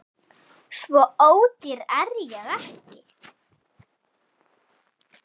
Svo ódýr er ég ekki